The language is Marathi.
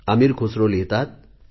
अमीर खुसरो लिहितात